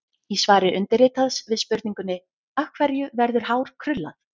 Í svari undirritaðs við spurningunni: Af hverju verður hár krullað?